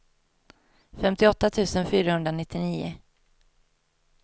femtioåtta tusen fyrahundranittionio